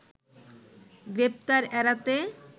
গ্রেপ্তার এড়াতে